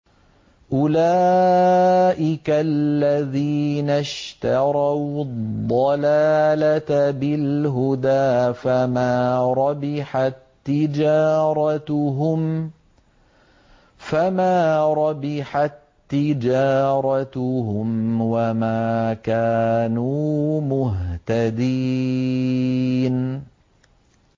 أُولَٰئِكَ الَّذِينَ اشْتَرَوُا الضَّلَالَةَ بِالْهُدَىٰ فَمَا رَبِحَت تِّجَارَتُهُمْ وَمَا كَانُوا مُهْتَدِينَ